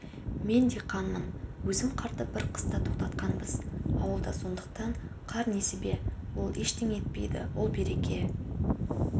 мен диқанмын өзім қарды біз қыста тоқтататынбыз ауылда сондықтан қар несібе ол ештеңе етпейді ол береке